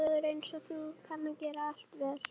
Maður einsog þú kann að gera allt vel.